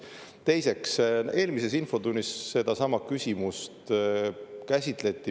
Teiseks, eelmises infotunnis sedasama küsimust käsitleti.